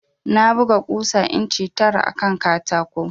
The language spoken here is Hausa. Na buga ƙusa inci tara akan katako